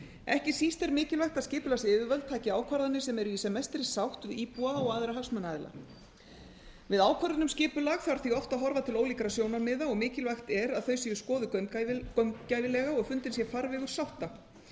ekki síst er mikilvægt að skipulagsyfirvöld taki ákvarðanir sem eru í sem mestri sátt við íbúa og aðra hagsmunaaðila við ákvörðun um skipulag þarf því oft að horfa til ólíkra sjónarmiða og mikilvægt er að þau séu skoðuð gaumgæfilega og fundinn sé farvegur sátta